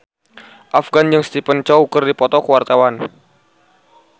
Afgan jeung Stephen Chow keur dipoto ku wartawan